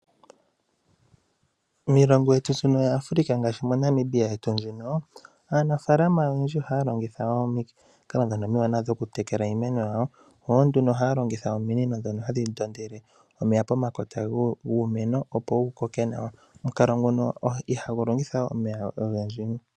Miilongo yaAfrica ngaashi moNamibia yetu muno ,aanafalama oyendji ohaya longitha ominino ndhono omiwanawa oku tekela iimeno yawo, yo nduno ohaya longitha ominino ndhono hadhi ndondele omeya pomakota guumeno, opo wu koke nawa. Omukalo nguno ihagu longitha omeya ogendji.